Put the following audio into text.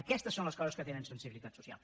aquestes són les coses que tenen sensibilitat social